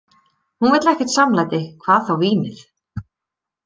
Hún vill ekkert samlæti, hvað þá vínið.